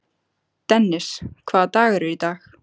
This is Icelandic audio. Dennis, hvaða dagur er í dag?